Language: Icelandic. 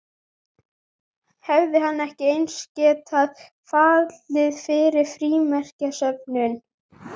Hefði hann ekki eins getað fallið fyrir frímerkjasöfnun?